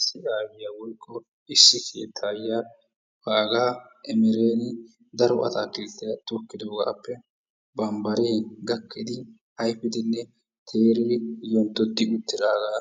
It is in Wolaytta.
Issi aayyiya woykko issi keettaayyiya baagaa emereeni daro ataakilttiya tokkidoogaappe bambbaree gakkidi ayifidinne teridi yonddi uttidaagaa